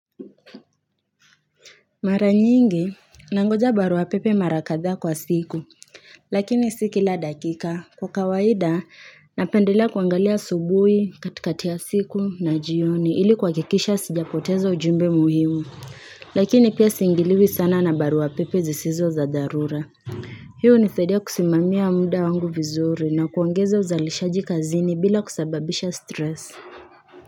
Mara nyingi, nangoja barua pepe mara kadhaa kwa siku, lakini si kila dakika, kwa kawaida napendelea kuangalia asubui katikati ya siku na jioni ili kuwakikisha sijapoteza ujumbe muhimu, lakini pia siingiliwi sana na barua pepe zisizo za dharura. Hii unisaidia kusimamia muda wangu vizuri na kuongeza uzalishaji kazini bila kusababisha stress.